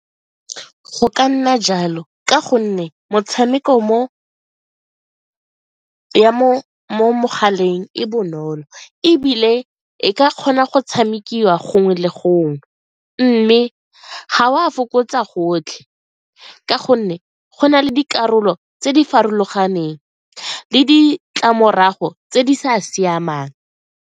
Go ka nna jalo ka gonne motshameko mo mogaleng e bonolo ebile e ka kgona go tshamekiwa gongwe le gongwe mme ga o a fokotsa gotlhe ka gonne go na le dikarolo tse di farologaneng le ditlamorago tse di sa siamang.